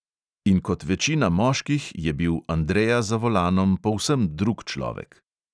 In kot večina moških je bil andreja za volanom povsem drug človek.